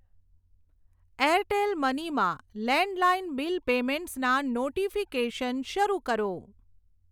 Airtel money માં landline bill પેમેંટ્સના notification શરૂ કરો.